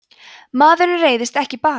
maður reiðist ekki bara